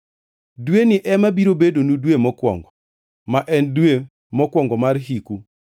“Dweni ema biro bedonu dwe mokwongo, ma en dwe mokwongo mar hiku.